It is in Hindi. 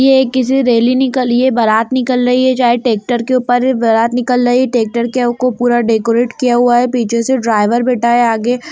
ये किसी रैली निकली है बारात निकल रही है चाहे ट्रेक्टर के ऊपर बारात निकल रही ट्रेक्टर के उ पूरा डेकोरेट किया हुआ है पीछे से ड्राइवर बैठा है आगे --